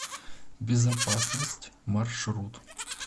безопасность маршрут